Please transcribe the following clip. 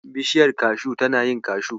Bishiyar kashu tana yin kashu.